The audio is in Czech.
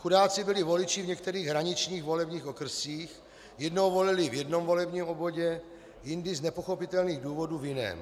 Chudáci byli voliči v některých hraničních volebních okrscích: jednou volili v jednom volebním obvodě, jindy z nepochopitelných důvodů v jiném.